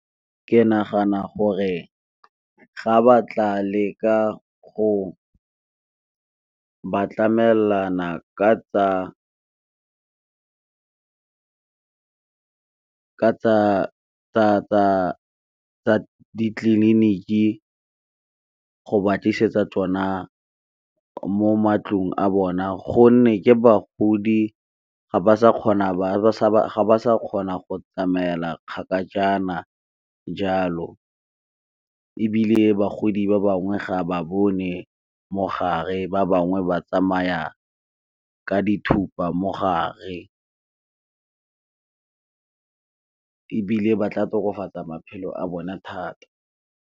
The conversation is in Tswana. ke nagana gore ga ba tla le ka go ba tlamelana ka tsa ditleliniki go ba tlisetsa tsona mo matlong a bona gonne ke bagodi ga ba sa kgona go tsamaela kgakajana jalo. Ebile bagodi ba bangwe ga ba bone mogare, ba bangwe ba tsamaya ka dithupa mogare, ebile ba tla tokafatsaa maphelo a bona thata.